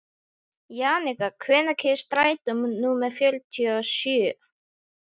Jannika, hvenær kemur strætó númer fjörutíu og sjö?